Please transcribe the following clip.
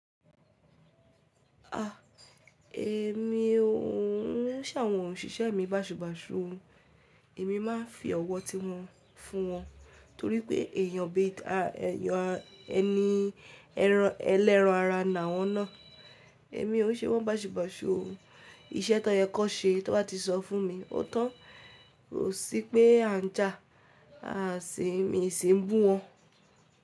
A! Èmi ò nṣé àwọn òṣìṣẹ́ mi bàṣubàṣu. Èmi máa ń fi ọwọ́ ti wọ́n fún wọn torí pé èèyàn bí i ẹni ẹlẹ́ran ara nà wọ́n ná. Èmi ò ṣe wọ́n bàṣubàṣu. Iṣẹ́ tó yẹ kó ṣe tí wọ́n bá ti sọ fún mi, ó tán. Kò sí pé a ń jà, à sì mi sì ń bú wọn.